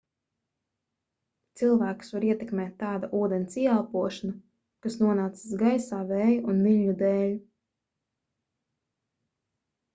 cilvēkus var ietekmēt tāda ūdens ieelpošana kas nonācis gaisā vēja un viļņu dēl